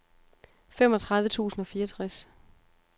femogtredive tusind og fireogtres